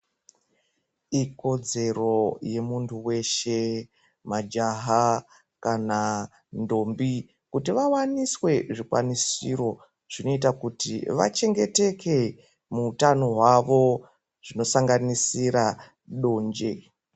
Ikodzero yemuntu weshe majaha kana ndombi kuti vawanisww zvikwanisiro zvinoita kuti vachengeteke muutano hwavo zvinosanganisira donje.